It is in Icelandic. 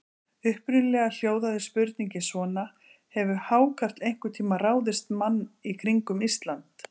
Upprunalega hljóðaði spurningin svona: Hefur hákarl einhvern tíma ráðist mann í kringum Ísland?